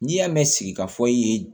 N'i y'a mɛn sigi k'a fɔ i ye